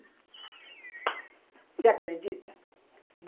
Você acredita?